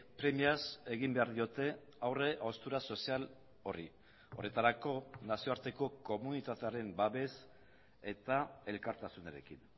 premiaz egin behar diote aurre haustura sozial horri horretarako nazioarteko komunitatearen babes eta elkartasunarekin